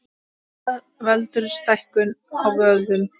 Hvað veldur stækkun á vöðvum?